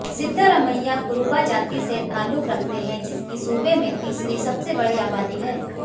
सिद्धारमैया कुरुबा जाति से ताल्लुक रखते हैं जिसकी सूबे में तीसरी सबसे बड़ी आबादी है